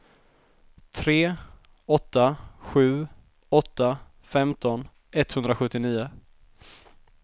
tre åtta sju åtta femton etthundrasjuttionio